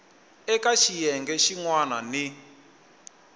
eka xiyenge xin wana ni